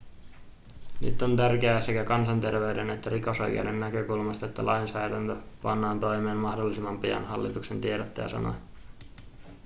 nyt on tärkeää sekä kansanterveyden että rikosoikeuden näkökulmasta että lainsäädäntö pannaan toimeen mahdollisimman pian hallituksen tiedottaja sanoi